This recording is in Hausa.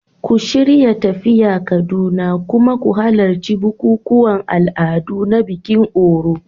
Ku shirya tafiya Kaduna, kuma ku halarci bukukuwan al'adu na bikin Òrò.